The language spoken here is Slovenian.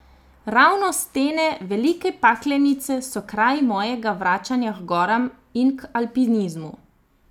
Ravno stene Velike Paklenice so kraj mojega vračanja h goram in k alpinizmu.